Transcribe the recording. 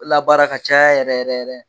Labaara ka caya yɛrɛ yɛrɛ.